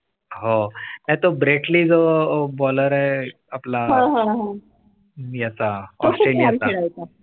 . हो नाही तो ब्रेट ली जो baller आहे. आपला हा? याचा ऑस्ट्रेलिया